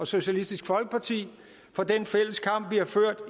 socialistisk folkeparti for den fælles kamp